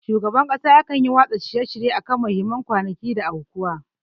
Shugaban kasa yakan yi watsa shirye akan muhimman kwanaki da aukuwa.